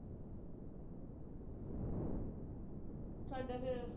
ਸਾਡਾ ਫਿਰ,